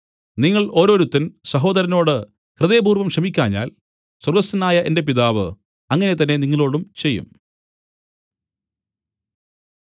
നിങ്ങൾ ഓരോരുത്തൻ സഹോദരനോട് ഹൃദയപൂർവ്വം ക്ഷമിക്കാഞ്ഞാൽ സ്വർഗ്ഗസ്ഥനായ എന്റെ പിതാവ് അങ്ങനെ തന്നെ നിങ്ങളോടും ചെയ്യും